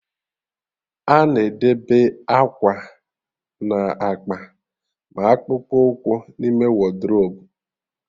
A na-edebe akwa na akpa ma akpụkpụ ụkwụ n'ime wodrobu